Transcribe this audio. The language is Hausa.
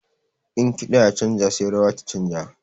In kiɗa ya canja sai rawa ta canja.